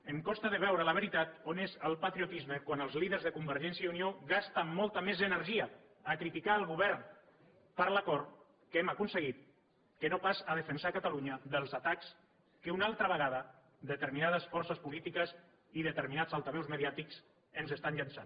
em costa de veure la veritat on és el patriotisme quan els líders de convergència i unió gasten molta més energia a criticar el govern per l’acord que hem aconseguit que no pas a defensar catalunya dels atacs que una altra vegada determinades forces polítiques i determinats altaveus mediàtics ens estan llançant